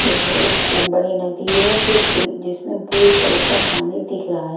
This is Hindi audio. यह एक खूब बड़ी नदी है जो जिसमें ब्लू कलर का पानी दिख रहा है।